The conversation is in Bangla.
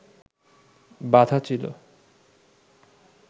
বাঁধা ছিল